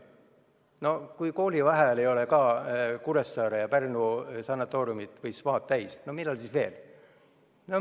No kui ka koolivaheajal ei ole Kuressaare ja Pärnu sanatooriumid või spaad inimesi täis, siis millal veel?